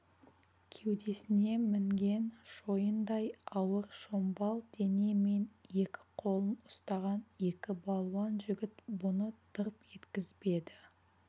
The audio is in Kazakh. кеудесіне мінген шойындай ауыр шомбал дене мен екі қолын ұстаған екі балуан жігіт бұны тырп еткізбеді